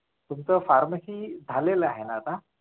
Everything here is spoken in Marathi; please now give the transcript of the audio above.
तुमच pharmacy झालेला आहे ना आता